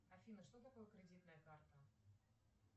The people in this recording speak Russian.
афина что такое кредитная карта